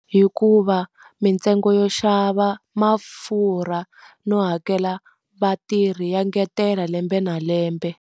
Hikuva mintsengo yo xava mafurha no hakela vatirhi ya ngetela lembe na lembe.